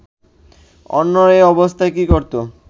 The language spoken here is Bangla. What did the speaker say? অন্যরা এ অবস্থায় কি করত